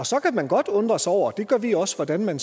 så kan man godt undre sig over og det gør vi også hvordan man